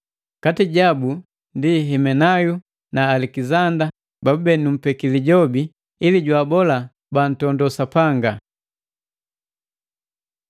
Kati jabu ndi Himenayo na Alekizanda babube numpeki Lijobi, ili jwaabola bantondo Sapanga.